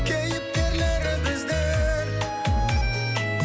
кейіпкерлері біздер